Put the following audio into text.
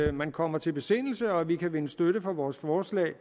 at man kommer til besindelse og at vi kan vinde støtte til vores forslag